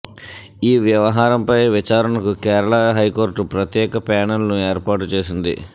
ఈ వ్యవహారంపై విచారణకు కేరళ హైకోర్టు ప్రత్యేక ప్యానెల్ను ఏర్పాటు చేసింది